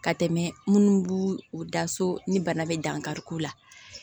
Ka tɛmɛ minnu b'u u da so ni bana bɛ dankariko la